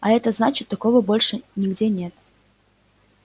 а это значит такого больше нигде нет